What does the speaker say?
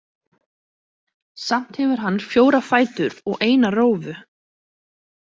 Samt hefur hann fjóra fætur og eina rófu.